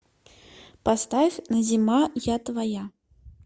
поставь назима я твоя